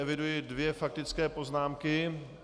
Eviduji dvě faktické poznámky.